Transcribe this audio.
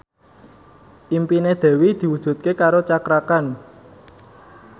impine Dewi diwujudke karo Cakra Khan